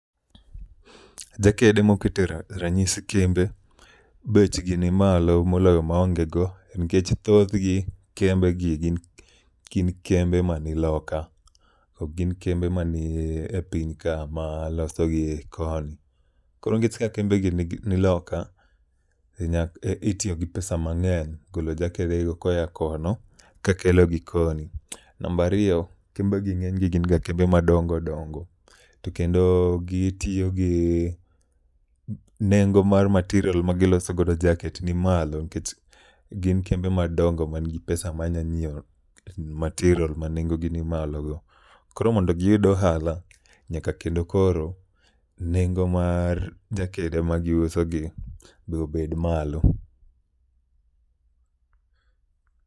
Jakede mokete ra ranyisi kembe bechgi ni malo moloyo maonge go, nikech thothgi kembe gi gin kembe ma ni loka. Ok gin kembe ma ni e piny ka ma loso gi koni. Koro nikech ka kembe gi ni loka, to nyak itiyo gi pesa mang'eny golo jakede go koya kono kakelogi koni. Nambariyo, kembegi ng'eny gi gin kembe ma dongo dongo. To kendo gitiyo gi nengo mar material ma gilosogodo jaket ni malo nikech gin kembe madongo man gi pesa ma nya nyiewo material ma nengo gi ni malo go. Koro mondo giyud ohala, nyaka kendo koro nengo mar jakede ma giuso gi be obed malo.